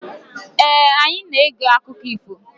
Ee, anyị na-ege akụkọ ifo.